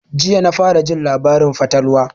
Jiya na fara jin labarin fatalwa